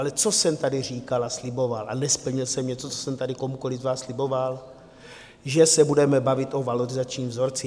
Ale co jsem tady říkal a sliboval a nesplnil jsem něco, co jsem tady komukoli z vás sliboval, že se budeme bavit o valorizačním vzorci.